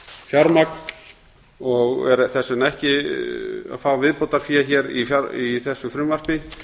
umframfjármagn og fær þess vegna ekki viðbótarfé í þessu frumvarpi